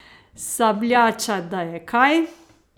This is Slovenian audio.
Sabljača, da je kaj!